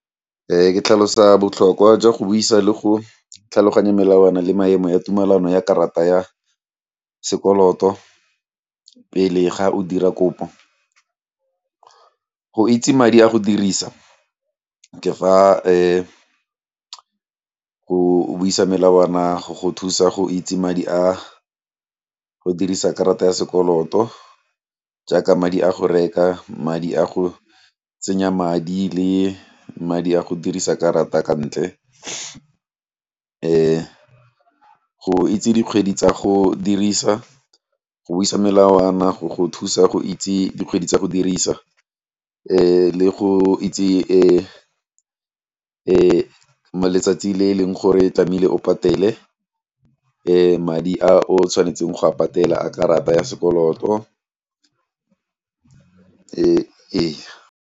Ke tlhalosa botlhokwa jwa go buisa le go tlhaloganya melawana le maemo ya tumelano ya karata ya sekoloto pele ga o dira kopo, go itse madi a go dirisa go buisa melawana go go thusa go itse madi a go dirisa karata ya sekoloto jaaka madi a go reka, madi a go tsenya madi le madi a go dirisa karata ka ntle go itse dikgwedi tsa go dirisa, go buisa melawana go go thusa go itse dikgwedi tsa go dirisa le go itse e letsatsi le e leng gore tlameile o patele madi a o tshwanetseng go a patela a karata ya sekoloto, ee.